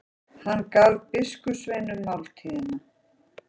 Hann gaf biskupssveinunum máltíðina.